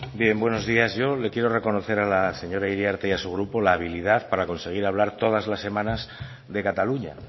bien buenos días yo le quiero reconocer a la señora iriarte y a su grupo la habilidad para conseguir hablar todas las semanas de cataluña